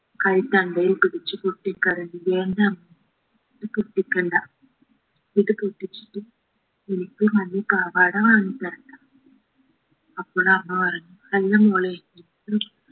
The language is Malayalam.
കൈത്തണ്ടയിൽ പിടിച്ചു പൊട്ടക്കരയുകയെന്റമ്മ പൊട്ടിക്കണ്ട ഇത് പൊട്ടിച്ചിട്ട് എനിക്ക് മഞ്ഞ പാവാട വാങ്ങിത്തരണ്ട അപ്പോഴമ്മ പറഞ്ഞു അല്ല മോളെ